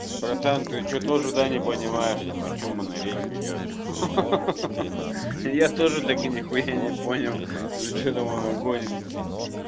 братан ты что тоже да не понимаешь там о чем она речь ведёт ха-ха-ха я тоже так и нехуя не понял за что там она гонит